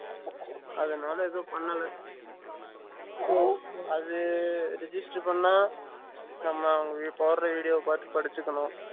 அதுனால எதுவும் பண்ணல அது register பண்ண நம்ம அவங்க போடுற video பார்த்து படிச்சிக்கணும்